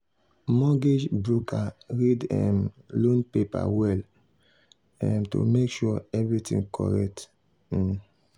mortgage broker read um loan paper well um to make sure everything correct. um